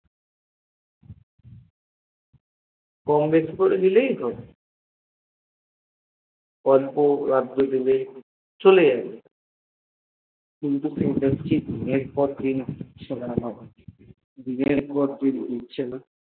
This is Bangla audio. কমবেশি করে দিলেই হব অল্প আস্তে দিলেই চলে যাবে কিন্তু সেটা দিনের পর দিন দিচ্ছেনা।